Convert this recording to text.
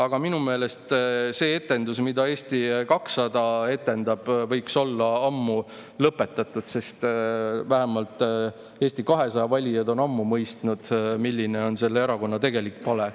Aga minu meelest see etendus, mida Eesti 200 etendab, võiks olla ammu lõpetatud, sest vähemalt Eesti 200 valijad on ammu mõistnud, milline on selle erakonna tegelik pale.